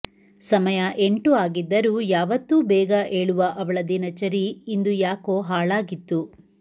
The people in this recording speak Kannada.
ಸಮಯ ಎಂಟು ಆಗಿದ್ದರೂ ಯಾವತ್ತೂ ಬೇಗ ಏಳುವ ಅವಳ ದಿನಚರಿ ಇಂದು ಯಾಕೋ ಹಾಳಾಗಿತ್ತು